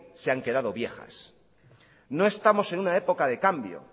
se han quedado viejas no estamos en una época de cambio